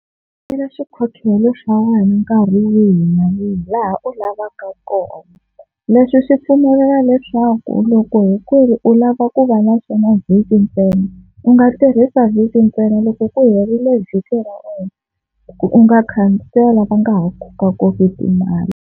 Khansela xikhokhelo xa wena nkarhi wihi na wihi laha u lavaka kona, leswi swi pfumelela leswaku loko hi ku ri u lava ku va na xona vhiki ntsena u nga tirhisa vhiki ntsena loko ku herile vhiki ra wena ku u nga khansela ku u nga ha kokakokiwi timali.